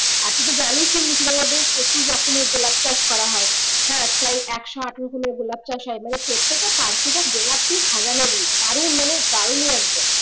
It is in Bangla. আর তুই তো জানিসই মুর্শিদাবাদে প্রচুর রকমের গোলাপ চাষ করা হয় হ্যাঁ তোর একশো আট রকমের গোলাপ চাষ করা হয় প্রত্যেকটা পার্কই তো গোলাপ দিয়ে সাজানো থাকে দারুন মানে দারুণ একদম